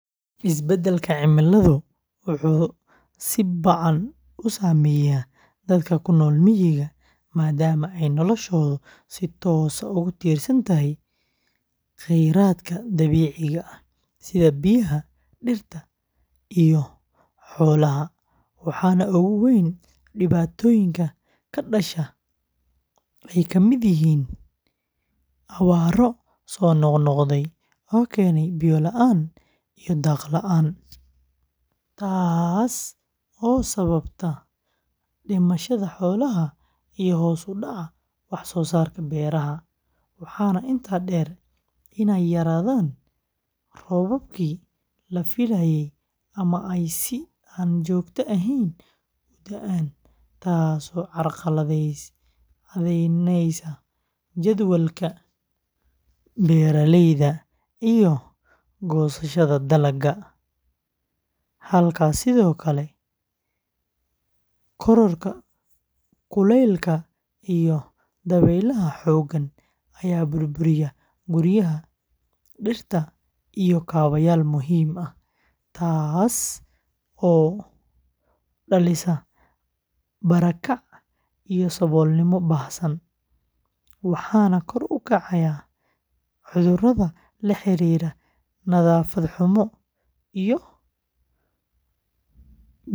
Isbedelka cimiladu wuxuu si ba’an u saameeyaa dadka ku nool miyiga, maadaama ay noloshoodu si toos ah ugu tiirsan tahay khayraadka dabiiciga ah sida biyaha, dhirta, iyo xoolaha, waxaana ugu weyn dhibaatooyinka ka dhasha ay ka mid yihiin abaaro soo noqnoqday oo keena biyo la’aan iyo daaq la’aan, taasoo sababta dhimashada xoolaha iyo hoos u dhaca wax-soosaarka beeraha, waxaana intaa dheer inay yaraadaan roobabkii la filayay ama ay si aan joogto ahayn u da’aan, taasoo carqaladaynaysa jadwalka beeraleyda iyo goosashada dalagga, halka sidoo kale kororka kulaylka iyo dabaylaha xooggan ay burburiyaan guryaha, dhirta iyo kaabayaal muhiim ah, taasoo dhalisa barakac iyo saboolnimo baahsan, waxaana kor u kacaya cudurrada la xiriira nadaafad xumo iyo biyo wasakhaysan.